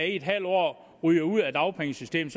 i en halv år ryger ud af dagpengesystemet